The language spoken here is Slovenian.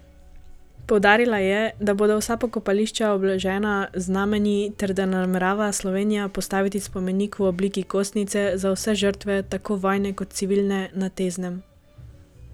Poudarila je, da bodo vsa pokopališča obeležena z znamenji, ter da namerava Slovenija postaviti spomenik v obliki kostnice za vse žrtve, tako vojne kot civilne, na Teznem.